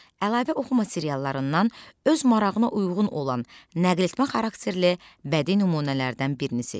Əlavə oxuma seriallarından öz marağına uyğun olan nəql etmə xarakterli bədii nümunələrdən birini seç.